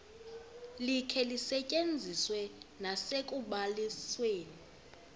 likhe lisetyenziswe nasekubalisweni